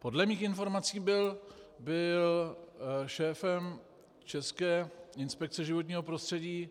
Podle mých informací byl šéfem České inspekce životního prostředí